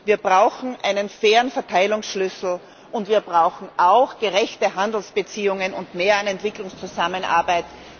Wir brauchen einen fairen Verteilungsschlüssel, und wir brauchen auch gerechte Handelsbeziehungen und mehr Entwicklungszusammenarbeit.